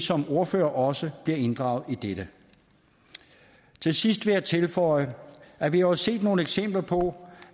som ordførere også bliver inddraget i dette til sidst vil jeg tilføje at vi jo har set nogle eksempler på